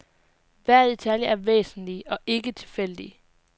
Hver detalje er væsentlig og ikke tilfældig.